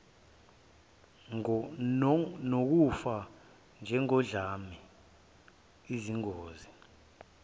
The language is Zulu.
nokufa njengodlame izingozi